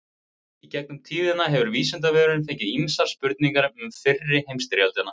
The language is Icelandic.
Í gegnum tíðina hefur Vísindavefurinn fengið ýmsar spurningar um fyrri heimsstyrjöldina.